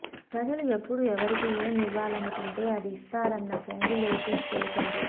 ప్రజలు ఎప్పుడు ఎవరికి ఏం ఇవ్వాలనుకుంటే అది ఇస్తారని పొంగులేటి తెలిపారు